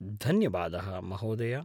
-धन्यवादः महोदय!